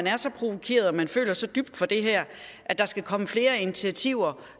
er så provokeret og man føler så dybt for det her at der skal komme flere initiativer